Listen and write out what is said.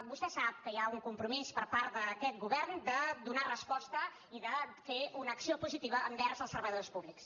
vostè sap que hi ha un compromís per part d’aquest govern de donar resposta i de fer una acció positiva envers els treballadors públics